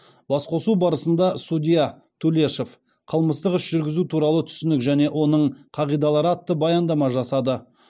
басқосу барысында судья тулешов қылмыстық іс жүргізу туралы түсінік және оның қағидалары атты баяндама жасады